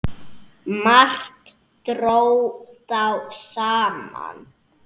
Margt dró þá saman.